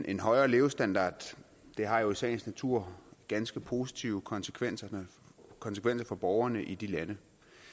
en højere levestandard har jo i sagens natur ganske positive konsekvenser konsekvenser for borgerne i de lande